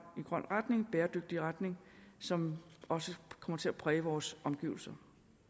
og bæredygtig retning som også kommer til at præge vores omgivelser